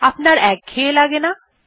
আপনার একঘেঁয়ে লাগে না